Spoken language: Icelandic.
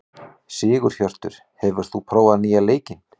Sigurhjörtur, hefur þú prófað nýja leikinn?